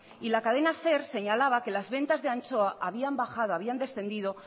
y la cadena ser señalaba que las ventas de anchoa habían descendido